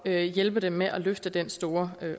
at hjælpe dem med at løfte den store